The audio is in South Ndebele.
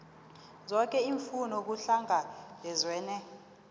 zoke iimfuno kuhlangabezwene